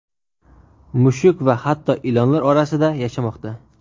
mushuk va hatto ilonlar orasida yashamoqda.